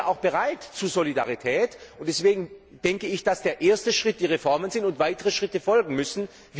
Deswegen sind wir auch zur Solidarität bereit, und deshalb denke ich, dass der erste Schritt die Reformen sind und weitere Schritte folgen müssen.